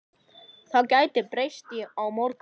Það gæti breyst á morgun.